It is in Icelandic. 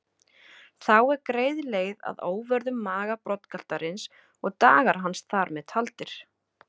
Þá er greið leið að óvörðum maga broddgaltarins og dagar hans þar með taldir.